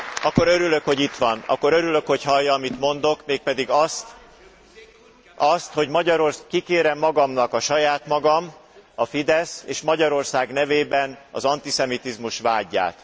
Akkor örülök, hogy itt van, akkor örülök, hogy hallja, amit mondok, mégpedig azt, hogy kikérem magamnak a saját magam, a Fidesz és Magyarország nevében az antiszemitizmus vádját.